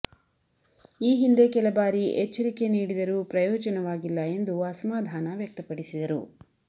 ಈ ಹಿಂದೆ ಕೆಲ ಬಾರಿ ಎಚ್ಚರಿಕೆ ನೀಡಿದರೂ ಪ್ರಯೋಜನವಾಗಿಲ್ಲ ಎಂದು ಅಸಮಾಧಾನ ವ್ಯಕ್ತಪಡಿಸಿದರು